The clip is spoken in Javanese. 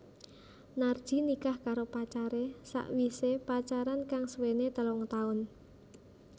Narji nikah karo pacaré sawisé pacaran kang suwené telung taun